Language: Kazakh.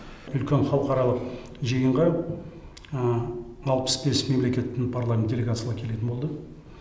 үлкен халықаралық жиынға алпыс бес мемлекеттің парламент делегациялары келетін болды